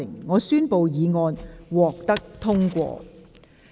我宣布議案獲得通過。